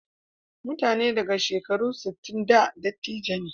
Mutane daga shekaru sittin da dattijai ne.